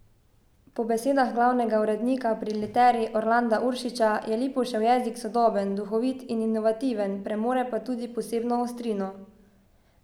Po besedah glavnega urednika pri Literi Orlanda Uršiča je Lipušev jezik sodoben, duhovit in inovativen, premore pa tudi posebno ostrino.